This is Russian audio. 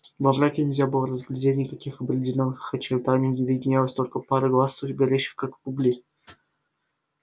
во мраке нельзя было разглядеть никаких определённых очертаний виднелась только пара глаз горящих как угли